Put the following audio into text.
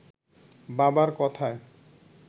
বাবার কথায়